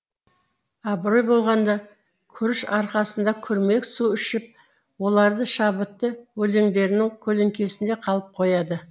абырой болғанда күріш арқасында күрмек су ішіп оларды шабытты өлеңдерінің көлеңкесінде қалып қояды